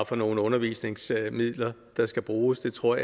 for nogle undervisningsmidler der skal bruges jeg tror